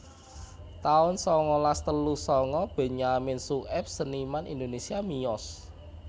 taun sangalas telu sanga Benyamin Sueb seniman Indonésia miyos